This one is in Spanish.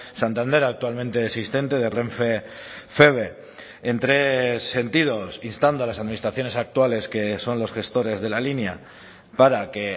santander actualmente existente de renfe feve en tres sentidos instando a las administraciones actuales que son los gestores de la línea para que